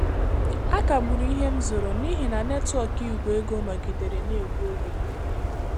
A kagburu ihe m zụrụ nihi na netwọk Igwe ego nọgidere na-egbu oge.